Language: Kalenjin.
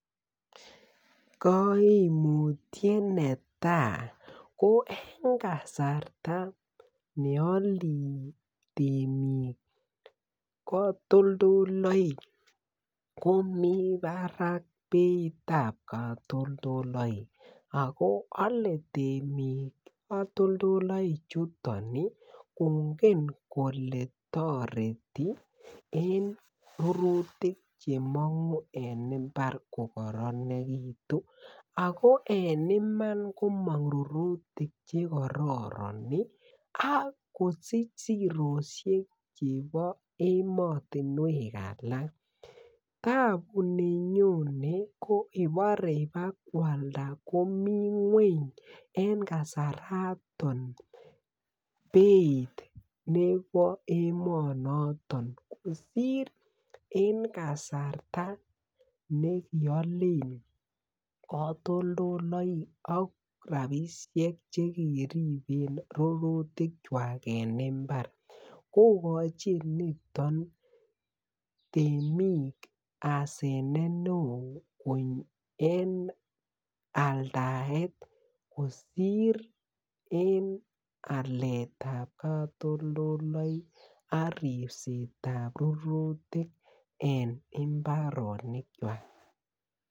Koomutiet netai ko en kasarta neole tiemik kotullduloik komi barak beittab kotoldoik oko ole timik kotoldoloik chuton kongen kole chuton kotoreti en kerutikche mongu en imbaret kokoronikitun okoen iman komongu tiemutik che kororon oko sich siroisheik chebo emotunwek alaktabu nenyonen okobo kwalda en beit nemi nweng en kasar noton beit nebo emo noton kosir en kasarta nekiyolen kotoldolaik okra ishek chekikolen rurutik chwak en imbar kokochin niton tiemik asenet neo en aldaet kosir alet ab kotoldolaik ak ribset ab rurutik en imbarotik checwak